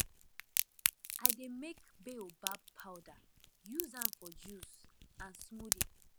i dey make baobab powder use am for juice and smoothie